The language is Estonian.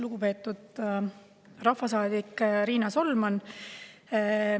Lugupeetud rahvasaadik Riina Solman!